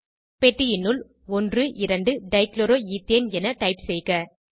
பெட்டியினுள் 12 dichloroethane என type செய்க